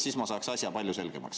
Siis ma saaks asja palju selgemaks.